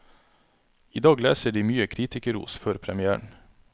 I dag leser de mye kritikerros før premièren.